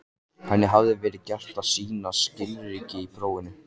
Henni hafði verið gert að sýna skilríki í prófinu.